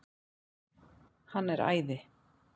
Hann er æði.